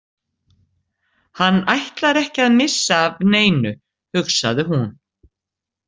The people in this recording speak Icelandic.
Hann ætlar ekki að missa af neinu, hugsaði hún.